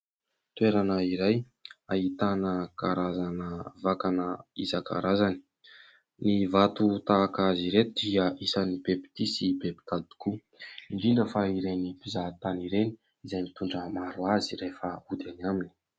Toerana iray ahitana karazana vakana isankarazany, ny vato tahaka azy ireto dia isany be mpitia sy be mpitady tokoa indrindra fa ireny mpizahatany ireny izay mitondra maro azy rehefa hody any aminy.